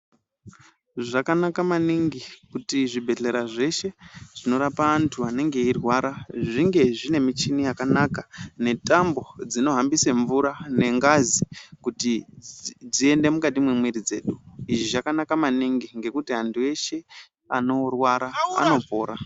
Zvakanaka maningi kuti zvibhedhlera zveshe zvinorapa antu anenge eirwara zvinge zvine michini yakanaka netambo dzinohambisa mvura nengazi kuti dziende mukati memwiri dzedu izvi zvakanaka maningi anorwara amwe mvura.